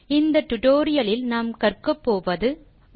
இந்த டியூட்டோரியல் லின் இறுதியில் நீங்கள் பின்வருவனவற்றை செய்யமுடியும்